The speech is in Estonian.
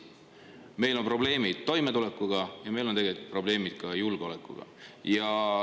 Meil on probleeme toimetulekuga ja meil on probleeme tegelikult ka julgeolekuga.